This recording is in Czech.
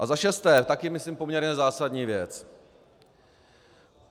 A za šesté - také myslím poměrně zásadní věc.